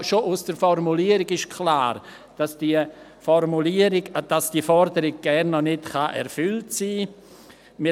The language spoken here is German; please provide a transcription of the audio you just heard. Schon aus der Formulierung ist klar, dass diese Forderung noch gar nicht erfüllt sein kann.